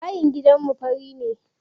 Bayin gidanmu fari ne.